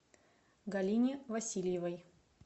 галине васильевой